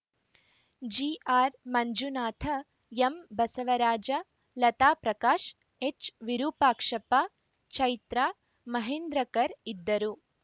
G R Manjunatha ಎಂಬಸವರಾಜ Lata Prakash ಎಚ್‌ವಿರೂಪಾಕ್ಷಪ್ಪ Chaitra Mahendrakar ಇದ್ದರು